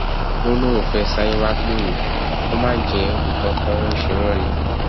ó lóun fẹẹ sáré wàá pè mí kó má jẹ nǹkan kan ń ṣe wọn ni